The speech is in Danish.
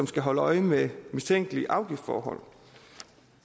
skal holde øje med mistænkelige afgiftsforhold